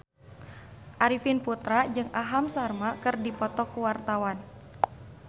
Arifin Putra jeung Aham Sharma keur dipoto ku wartawan